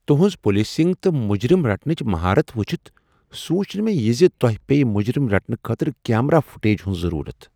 ُتُہنٛز policing تہٕ مجرم رٹنٕچ مہارت وُچھتھ سونچ نہٕ مےٚ زِ تۄہِہ پییِہ مجرم رٹنہٕ خٲطرٕ کیمرا فوٹیج ہُند ضرورت ۔